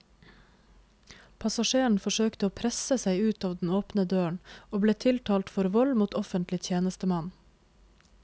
Passasjeren forsøkte å presse seg ut av den åpne døren, og ble tiltalt for vold mot offentlig tjenestemann.